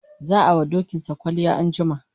za'a wa dokinsa kwalliya anjima